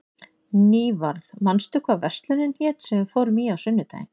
Nývarð, manstu hvað verslunin hét sem við fórum í á sunnudaginn?